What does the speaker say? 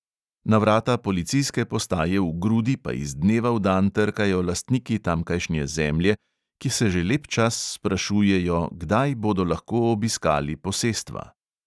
Na vrata policijske postaje v grudi pa iz dneva v dan trkajo lastniki tamkajšnje zemlje, ki se že lep čas sprašujejo, kdaj bodo lahko obiskali posestva.